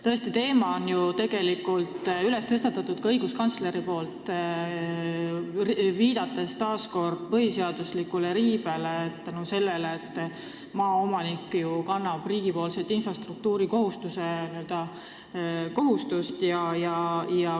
Tõesti, selle teema on ju tegelikult tõstatanud ka õiguskantsler, kes viitas põhiseaduslikkuse riivele, mis tuleb sellest, et maaomanik kannab liiga suurt talumiskohustust.